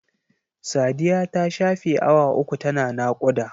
Sadiya ta shafe awa uku ta na naƙuda.